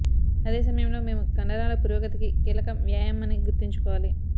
అదే సమయంలో మేము కండరాల పురోగతికి కీలకం వ్యాయామం అని గుర్తుంచుకోవాలి